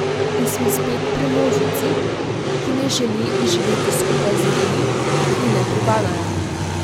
In smo spet pri množici, ki ne želi živeti skupaj z ljudmi, ki ji ne pripadajo.